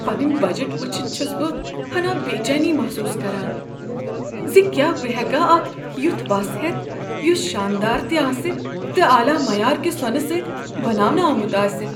پنٕنۍ بجٹ وچھتھ چھس بہ ہناہ بےچینی محسوس کران ز کیاہ بہٕ ہیکا اکھ یتھ وَس ہیتھ یس شاندار تہ آسہ تہٕ اعلی معیارکِہ سونہٕ سۭتۍ بناونہٕ آمت آسہ۔